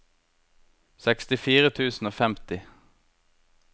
sekstifire tusen og femti